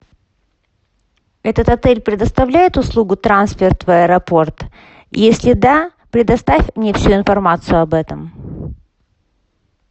этот отель предоставляет услугу трансфер в аэропорт если да предоставь мне всю информацию об этом